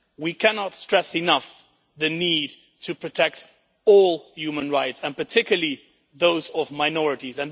We cannot stress enough the need to protect all human rights, and particularly those of minorities.